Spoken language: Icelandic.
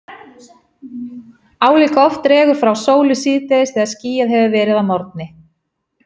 Álíka oft dregur frá sólu síðdegis þegar skýjað hefur verið að morgni.